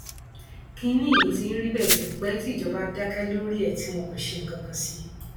kínní yìí ti ń rí bẹẹ tipẹ tí ìjọba dákẹ lórí ẹ ẹ tí wọn kò ṣe nǹkan kan sí i